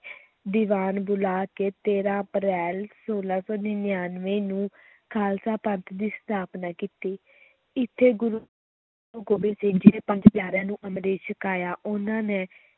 ਦੀਵਾਨ ਬੁਲਾ ਕੇ ਤੇਰਾ ਅਪ੍ਰੈਲ, ਛੋਲਾਂ ਸੌ ਨੜ੍ਹਿਨਵੇਂ ਨੂੰ ਖ਼ਾਲਸਾ ਪੰਥ ਦੀ ਸਥਾਪਨਾ ਕੀਤੀ ਇੱਥੇ ਗੁਰੂ ਗੋਬਿੰਦ ਸਿੰਘ ਜੀ ਨੇ ਪੰਜ ਪਿਆਰਿਆਂ ਨੂੰ ਅੰਮ੍ਰਿਤ ਛਕਾਇਆ, ਉਨ੍ਹਾਂ ਨੇ